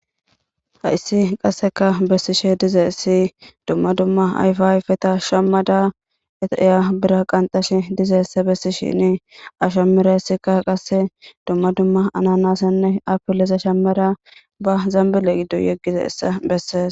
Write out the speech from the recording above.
hayssi qasseka bessishe dize essi dumma dumma ayfa ayfeta shammada etreya bira qanxashe dizeesse bessishini ashammera issika qasse dumma dumma ananasenne apillese shammeda ba zambile giddo yeggize essa bessees